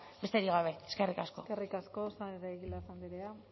besterik gabe eskerrik asko eskerrik asko saez de egilaz andrea